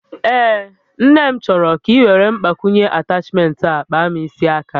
Mba, Nne m chọrọ ka iwere Mgbakwunye atachment a kpaa m isi aka